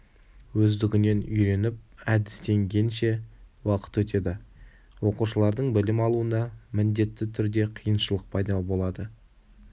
өздігінен үйреніп әдістенгенше уақыт өтеді оқушылардың білім алуына міндетті түрде қиыншылық пайда болады